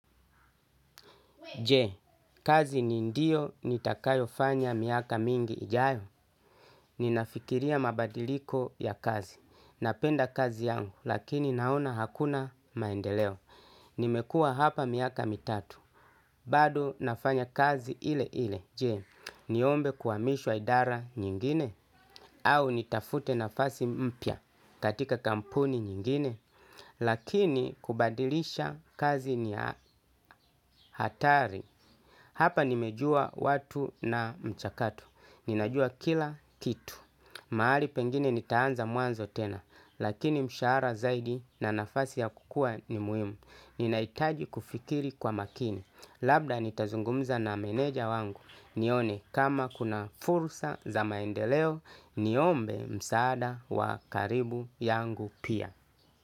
Je, kazi ni ndio nitakayo fanya miaka mingi ijayo? Ninafikiria mabadiliko ya kazi. Napenda kazi yangu, lakini naona hakuna maendeleo. Nimekua hapa miaka mitatu. Bado nafanya kazi ile ile. Je, niombe kuamishwa idara nyingine? Au nitafute nafasi mpya katika kampuni nyingine? Lakini kubadilisha kazi ni hatari. Hapa nimejua watu na mchakatu, ninajua kila kitu. Maali pengine nitaanza mwanzo tena, lakini mshara zaidi na nafasi ya kukua ni muhimu. Ninaitaji kufikiri kwa makini. Labda nitazungumza na meneja wangu, nione kama kuna fursa za maendeleo, niombe msaada wa karibu yangu pia.